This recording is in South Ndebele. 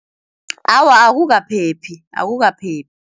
Awa akukaphephi